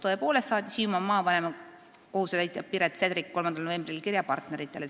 " Tõepoolest saatis Hiiumaa maavanema kohusetäitja Piret Sedrik 3. novembril kirja partneritele.